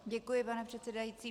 Děkuji, pane předsedající.